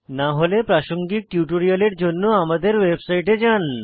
না হলে প্রাসঙ্গিক টিউটোরিয়ালের জন্য আমাদের ওয়েবসাইটে যান